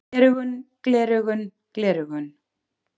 Gleraugun gleraugun gleraugun.